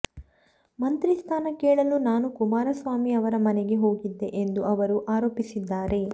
ಮಂತ್ರಿ ಸ್ಥಾನ ಕೇಳಲು ನಾನು ಕುಮಾರಸ್ವಾಮಿ ಅವರ ಮನೆಗೆ ಹೋಗಿದ್ದೆ ಎಂದು ಅವರು ಆರೋಪಿಸಿದ್ದಾರೆ